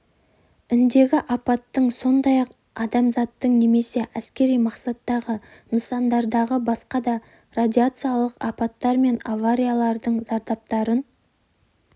індегі апаттың сондай-ақ азамттық немесе әскери мақсаттағы нысандардағы басқа да радиациялық апаттар мен авариялардың зардаптарын